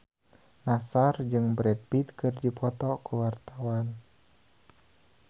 Nassar jeung Brad Pitt keur dipoto ku wartawan